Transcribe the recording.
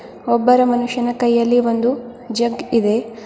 ಒಬ್ಬರ ಮನುಷ್ಯನ ಕೈಯಲ್ಲಿ ಒಂದು ಜಗ್ ಇದೆ.